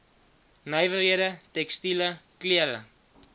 nywerhede tekstiele klere